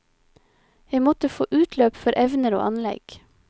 Jeg måtte få utløp for evner og anlegg.